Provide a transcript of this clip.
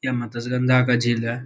यह मत्स्य गंगा का झील है।